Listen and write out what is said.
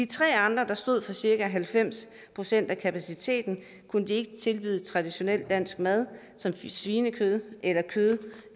tre andre der stod for cirka halvfems procent af kapaciteten kunne de ikke tilbyde traditionel dansk mad som svinekød eller kød